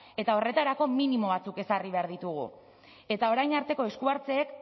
eta horretarako minimo batzuk ezarri behar ditugu eta orain arteko esku hartzeek